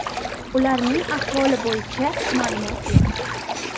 Ularning ahvoli bo‘yicha ma’lumot yo‘q.